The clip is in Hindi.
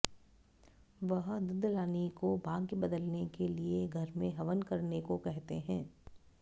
वह ददलानी को भाग्य बदलने के लिए घर में हवन करने को कहते हैं